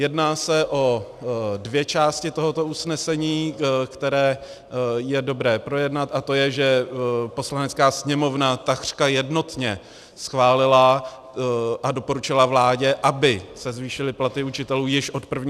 Jedná se o dvě části tohoto usnesení, které je dobré projednat, a to je, že Poslanecká sněmovna takřka jednotně schválila a doporučila vládě, aby se zvýšily platy učitelů již od 1. září.